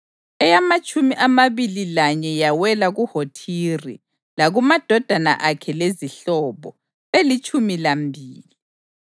eyamatshumi amabili lanye yawela kuHothiri, lakumadodana akhe lezihlobo, belitshumi lambili;